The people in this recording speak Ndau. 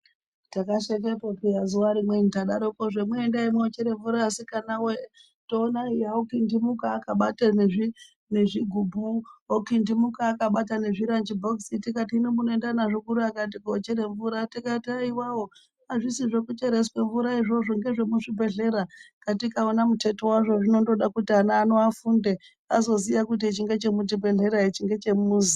Takasekepo peyani zuva rimweni tadaroko eya endai moochere mvura asikana wee. Toona eya okindimuka akabate nezvigubhu okindimuka akabata nezviranji bhobhokisi tikati hino munoenda nazvo kuri, akati koochere mvura. Tikati haiwawo hazvisi zvekucheresa mvura izvozvo ngezve muchibhehlera. Katika wona muteto wazvo zvinondoda kuti ana ano afunde, azoziya kuti ichi ngechemu chibhehlera ichi ndeche mumuzi.